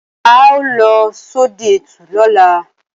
Á ó lọ sodẹ ẹtù lóla